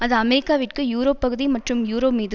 அது அமெரிக்காவிற்கு யூரோப் பகுதி மற்றும் யூரோமீது